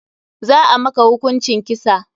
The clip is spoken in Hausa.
Za a maka hukuncin kisa.